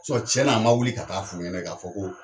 cɛ na a ma wuli ka taa f'u ɲɛnɛ ka fɔ ko